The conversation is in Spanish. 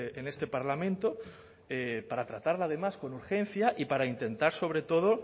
en este parlamento para tratarla además con urgencia y para intentar sobre todo